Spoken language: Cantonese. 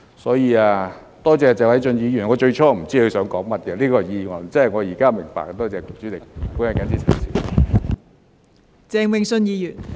因此，多謝謝偉俊議員，我最初也不知道他這項議案究竟想說甚麼，現在明白了。